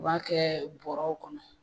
U b'a kɛ buwarɛw kɔnɔ.